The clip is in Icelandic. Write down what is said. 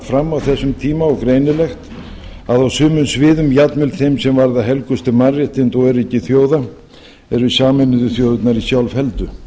fram á þessum tíma og greinilegt að á sumum sviðum jafnvel þeim sem varða helgustu mannréttindi og öryggi þjóða eru sameinuðu þjóðirnar í sjálfheldu